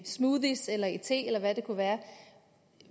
smoothies eller i te eller hvad det kunne være